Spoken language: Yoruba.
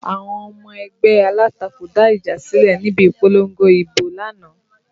Àwọn ọmọ ẹgbẹ́ alátakò dá ìjà sílẹ̀ níbi ìpolongo ibo lánàá